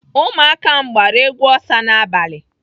Ụmụaka m agbara egwu Osa n'abalị?